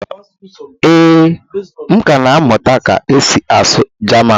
ee, m ka na-amụta ka esi asụ jaman